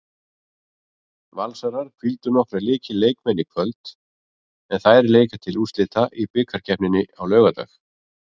Valsarar hvíldu nokkra lykilmenn í kvöld en þær leika til úrslita í bikarkeppninni á laugardag.